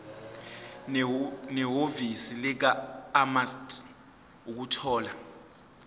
nehhovisi likamaster ukuthola